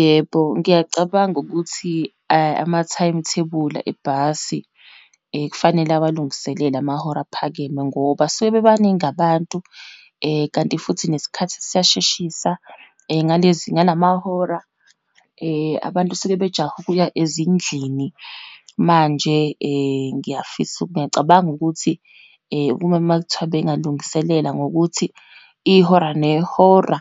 Yebo, ngiyacabanga ukuthi ama-time thebula ebhasi kufanele awalungiselele amahora aphakeme, ngoba suke bebaningi abantu, kanti futhi nesikhathi siyasheshisa, ngalezi, ngalamahora, abantu suke sebejahe ukuya ezindlini. Manje ngiyafisa ngiyacabanga ukuthi kube uma kuthiwa bengalungiselela ngokuthi ihora nehora